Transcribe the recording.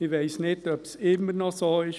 Ich weiss nicht, ob es immer noch so ist.